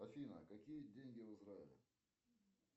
афина какие деньги в израиле